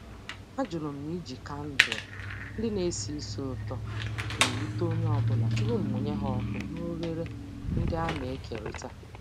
Ajụrụ m ma iji kandụl ndị na-esi ísì ụtọ na-ewute onye ọ bụla tupu mụnye ha ọkụ na oghere ndị a na-ekerịta.